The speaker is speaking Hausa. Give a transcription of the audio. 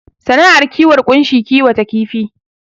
Sana'ar kiwon ƙunshi kiwata kifi